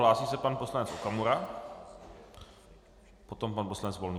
Hlásí se pan poslanec Okamura, potom pan poslanec Volný.